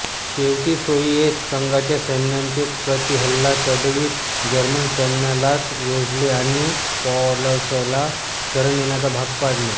शेवटी सोवियेत संघाच्या सैन्याने प्रतिहल्ला चढवीत जर्मन सैन्यालाच वेढले आणि पॉलसला शरण येण्यास भाग पाडले